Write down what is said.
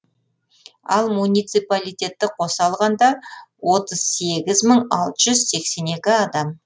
ал муниципалитетті қоса алғанда отыз сегіз мың алты жүз сексен екі адам